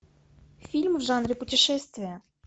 фильм в жанре путешествия